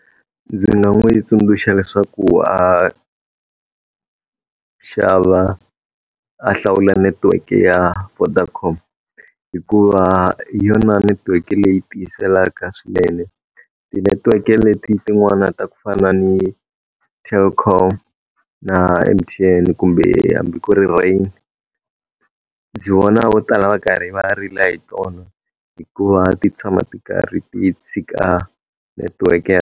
Ndzi nga n'wi tsundzuxa leswaku a xava a hlawula network-e ya Vodacom, hikuva hi yona netiweke leyi tiyiselaka swinene. Ti-network-e leti tin'wana ta ku fana ni Telkom na M_T_N kumbe hambi ku ri Rain, ndzi vona vo tala va karhi va rila hi tona. Hikuva ti tshama ti karhi ti tshika network .